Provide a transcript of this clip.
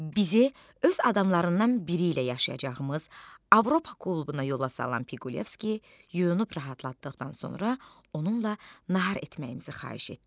Bizi öz adamlarından biri ilə yaşayacağımız Avropa klubuna yola salan Piqulevski yunub rahatlatdıqdan sonra onunla nahar etməyimizi xahiş etdi.